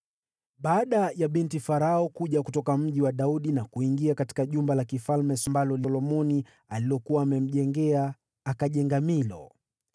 Baada ya binti Farao kuja kutoka Mji wa Daudi na kuingia jumba la kifalme ambalo Solomoni alikuwa amemjengea, akajenga Milo.